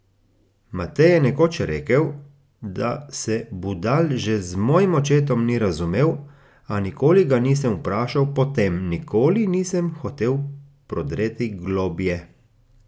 Matej je nekoč rekel, da se Budal že z mojim očetom ni razumel, a nikoli ga nisem vprašal po tem, nikoli nisem hotel prodreti globlje.